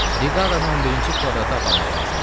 Briqadanı 11-ci kvadrata aparmaq lazımdır.